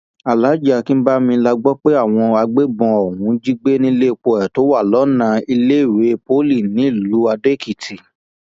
alhaji akínbami la gbọ pé àwọn agbébọn ọhún jí gbé níléèpo ẹ tó wà lọnà iléèwé poli nílùú adóèkìtì